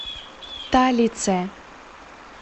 талице